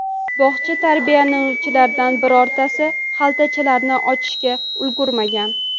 Bog‘cha tarbiyalanuvchilaridan birortasi xaltachalarni ochishga ulgurmagan.